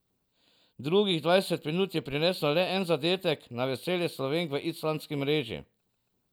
Drugih dvajset minut je prineslo le en zadetek, na veselje Slovenk v islandski mreži.